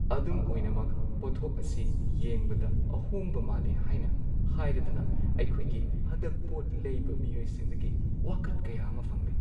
ꯑꯗꯨꯝ ꯑꯣꯏꯅꯃꯛ, ꯄꯣꯠꯊꯣꯛ ꯑꯁꯤ ꯌꯦꯡꯕꯗ ꯑꯍꯣꯡꯕ ꯃꯥꯜꯂꯤ ꯍꯥꯏꯅ ꯍꯥꯏꯔꯗꯨꯅ ꯑꯩꯈꯣꯏꯒꯤ ꯍꯟꯗꯛ ꯄꯣꯠ ꯂꯩꯕ ꯃꯤꯑꯣꯏꯁꯤꯡꯗꯒꯤ ꯋꯥꯀꯠ ꯀꯌꯥ ꯑꯃ ꯐꯪꯂꯦ꯫